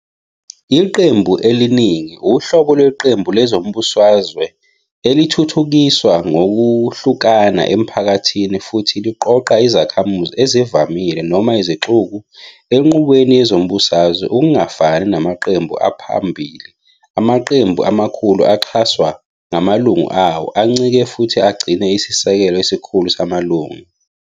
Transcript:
Iqembu eliningi uhlobo lweqembu lezombusazwe elithuthukiswa ngokuhlukana emphakathini futhi liqoqa izakhamuzi ezivamile noma 'izixuku' enqubweni yezombusazwe. Okungafani namaqembu aphambili, amaqembu amakhulu axhaswa ngamalunga awo, ancike futhi agcine isisekelo esikhulu samalunga.